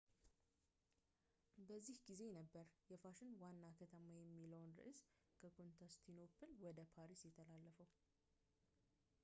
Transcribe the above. በዚህ ጊዜ ነበር የፋሽን ዋና ከተማ የሚለው ርዕስ ከኮንስታንቲኖፕል ወደ ፓሪስ የተላለፈው